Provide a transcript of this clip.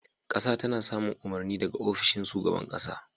Ƙasa tana samun umarni daga ofishin shugaban ƙasa.